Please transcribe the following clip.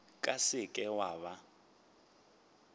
ka se ke wa ba